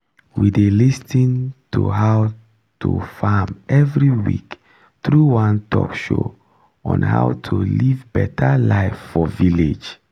we dey lis ten to how to farm every week through one talkshow on how to live better live for village